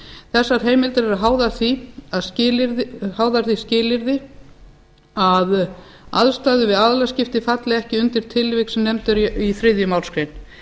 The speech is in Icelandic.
þessar heimildir eru háðar því skilyrði að aðstæður við aðilaskipti falli ekki undir tilvik sem nefnd eru í þriðju málsgrein